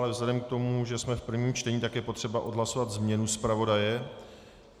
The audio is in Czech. Ale vzhledem k tomu, že jsme v prvním čtení, tak je potřeba odhlasovat změnu zpravodaje.